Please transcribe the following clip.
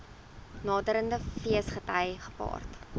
naderende feesgety gepaard